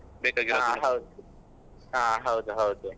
ಹೌದು. ಹಾ ಹೌದು ಹೌದು.